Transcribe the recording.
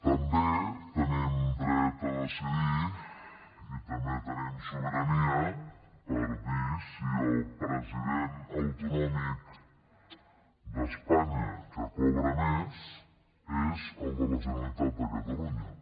també tenim dret a decidir i també tenim sobirania per dir si el president autonòmic d’espanya que cobra més és el de la generalitat de catalunya